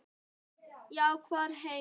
Já, hver veit?